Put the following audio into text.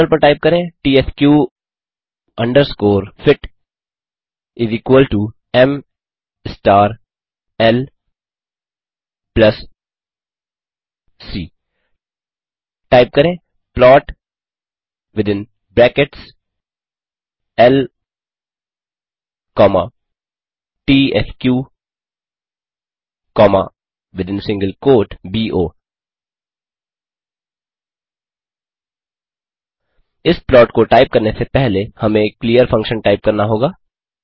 terminal पर type करें त्स्क अंडरस्कोर फिट एम स्टार ल प्लस सी टाइप करें प्लॉट विथिन ब्रैकेट्स ल कॉमा त्स्क कॉमा विथिन सिंगल क्वोट बो इस प्लॉट को टाइप करने से पहले हमें क्लीयर फंक्शन टाइप करना होगा